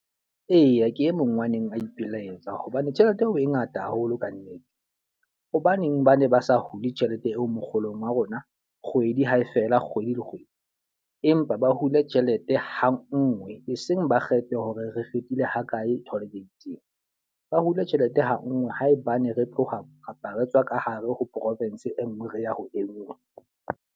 Eya ke e mong wa neng ba ipelaetsa hobane tjhelete eo o e ngata haholo ka nnete. Hobaneng ba ne ba sa hule tjhelete eo mokgolong wa rona, kgwedi hae fela kgwedi le kgwedi? Empa ba hule tjhelete ha nngwe, e seng ba kgethe hore re fetile ho kae toll gate-ing. Ba hule tjhelete ha nngwe haebane re tloha kapa re tswa ka hare ho province e nngwe re ya ho e nngwe.